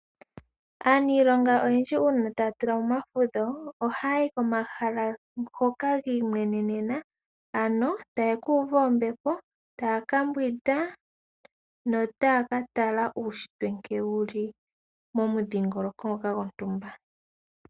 Aaniilonga oyendji uuna taya tulamo omafudho ohaya yi komahala ngoka gi imwenenena ano taye ku uva ombepo, taya kambwinda notaya ka tala uushitwe nkene wuli mo mu dhingoloko gwontumba.